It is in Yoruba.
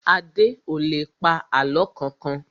Adé ò lè pa àlọ́ kankan